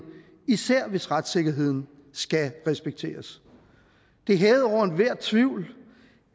især hvis retssikkerheden skal respekteres det er hævet over enhver tvivl